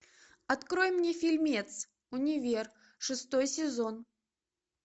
открой мне фильмец универ шестой сезон